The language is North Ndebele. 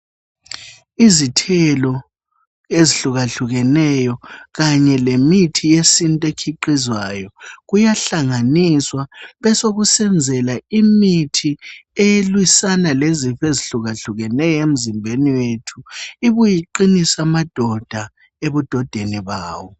Izithelo ezihlukahlukeneyo kanye lemithi yesintu ekhiqhizwayo. Kuyahlanganiswa besokusenzela imithi elwisana lezifo ezihlukahlukeneyo emzimbeni wethu. Ibuye iqinise amadoda ebudodeni bawo.